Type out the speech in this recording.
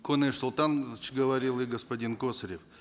куаныш султанович говорил и господин косарев